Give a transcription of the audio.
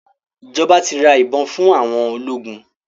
Ìjọba ti ra ìbọn fún àwọn ológun.